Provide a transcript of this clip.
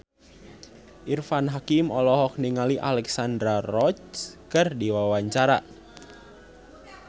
Irfan Hakim olohok ningali Alexandra Roach keur diwawancara